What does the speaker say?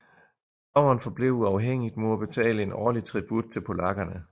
Pommern forblev uafhængigt mod at betale en årlig tribut til polakkerne